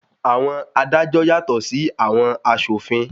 Àwọn adájọ́ yàtọ̀ sí àwọn aṣòfin.